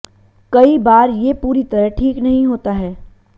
कई बार ये पूरी तरह ठीक नहीं होता है